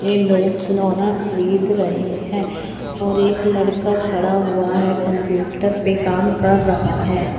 ये लोग खिलौना खरीद रहे हैं और एक लड़का खड़ा हुआ है। कंप्यूटर पे काम कर रहा है।